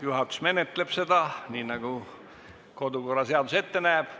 Juhatus menetleb seda nii, nagu kodu- ja töökorra seadus ette näeb.